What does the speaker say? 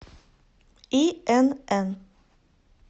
инн